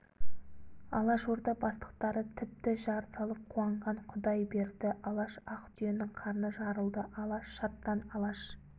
алашорда бастықтары тіпті жар салып қуанған құдай берді алаш ақ түйенің қарны жарылды алаш шаттан алаш